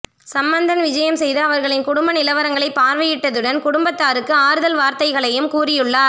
சம்பந்தன் விஜயம் செய்து அவர்களின் குடும்ப நிலவரங்களை பார்வையிட்டதுடன் குடும்பத்தாருக்கு ஆறுதல் வார்த்தைகளையும் கூறியுள்ளார்